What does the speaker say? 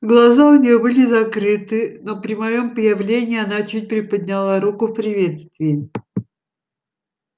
глаза у нее были закрыты но при моем появлении она чуть приподняла руку в приветствии